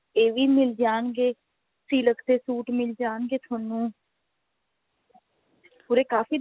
ਇਹ ਵੀ ਮਿਲ ਜਾਣਗੇ silk ਦੇ suit ਮਿਲ ਜਾਣਗੇ ਤੁਹਾਨੂੰ ਉਰੇ ਕਾਫੀ